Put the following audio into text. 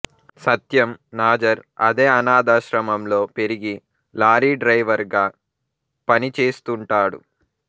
సత్యం నాజర్ అదే అనాథాశ్రమంలో పెరిగి లారీ డ్రైవర్ గా పనిచేస్తుంటాడు